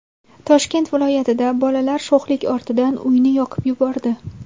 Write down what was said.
Toshkent viloyatida bolalar sho‘xlik ortidan uyni yoqib yubordi.